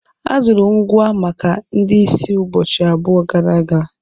A zụrụ ngwa maka ndị ìsì ụbọchị abụọ gara aga